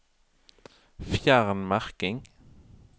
Fjern merking